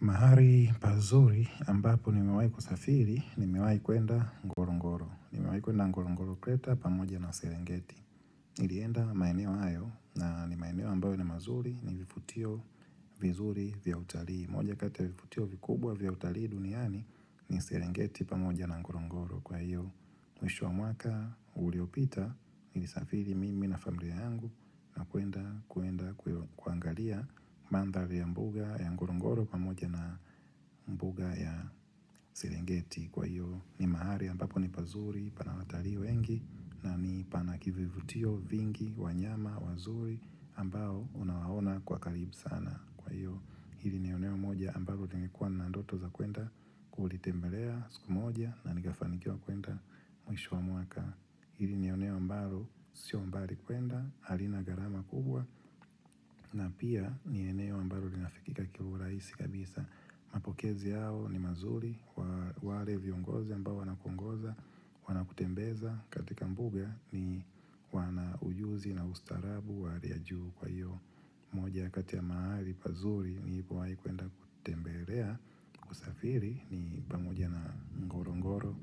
Mahari pazuri ambapo ni mewai kusafiri ni mewai kwenda ngorongoro. Ni mewai kuenda ngorongoro kleta pamoja na serengeti. Nilienda maeneo hayo na ni maeneo ambayo ni mazuri ni vifutio vizuri vya utalii. Moja kati ya vifutio vikubwa vya utalii duniani ni serengeti pamoja na ngorongoro. Kwa hiyo, mwisho wa mwaka uliopita, nilisafiri mimi na familia yangu na kwenda kuendakuangalia mandhali ya mbuga ya ngorongoro kwa moja na mbuga ya sirengeti. Kwa hiyo, ni mahali ambapo ni pazuri pana watarii wengi na ni pana kivivutio vingi, wanyama, wazuri ambao unawaona kwa karibu sana. Kwa hiyo hili ni eneo moja ambalo nilikuwa na ndoto za kwenda kulitembelea siku moja na nikafanikiwa kwenda mwisho wa mwaka Hili ni eneo ambaro sio mbari kwenda harina gharama kubwa na pia ni eneo ambaro linafikika kiulahisi kabisa Mapokezi yao ni mazuri kwa wale viongozi ambao wana kuongoza wana kutembeza katika mbuga ni wana ujuzi na ustaarabu wa hali yajuu kwa hiyo moja kati ya mahali pazuri nilipo wai kuenda kutembelelea usafiri ni pamoja na ngorongoro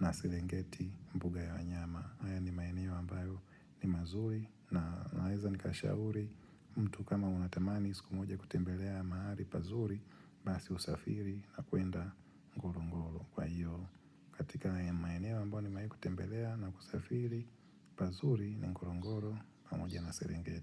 na sirengeti mbuga ya wanyama haya ni maeneo ambayo ni mazuri na naweza ni kashauri mtu kama unatamani siku moja kutembelea mahali pazuri Basi usafiri na kuenda ngorongo kwa hiyo katika ya maeneo ambayo ni mewahi kutembelea na kusafiri pazuri ni ngorongoro pamoja na sirengeti.